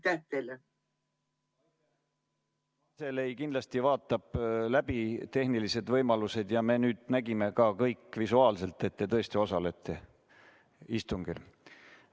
Kantselei kindlasti vaatab läbi tehnilised võimalused ja me nüüd nägime kõik ka visuaalselt, et te tõesti osalete istungil.